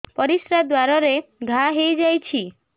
ପରିଶ୍ରା ଦ୍ୱାର ରେ ଘା ହେଇଯାଇଛି